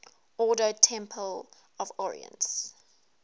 ordo templi orientis